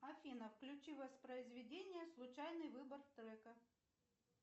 афина включи воспроизведение случайный выбор трека